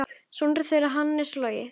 Sonur þeirra Hannes Logi.